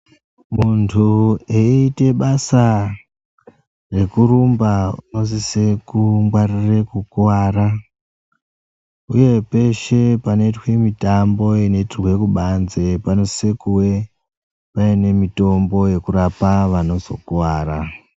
Muntu eyiite basa rekurumba unosise kungwarira kukuwara uye peshe panoitwa mitambo inoitirwe kubanze panosise kuve paine mitombo yekurapa vanozokuwara.